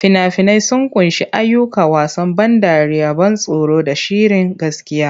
Fina-finai sun ƙunshi ayyuka, wasan ban dariya, ban tsoro, da shirin gaskiya.